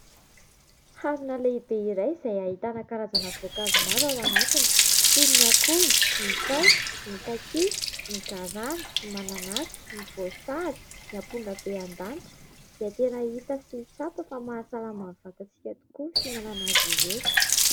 Harona lehibe iray izay ahitana karazana voankazo maro ao anatiny toy ny akondro, ny paiso, ny kakia, ny garana, ny mananasy, ny voasary, ny ampongabendanitra izay tena hita sy tsapa fa mahasalama ny vatantsika tokoa ny fihinanana azy ireo.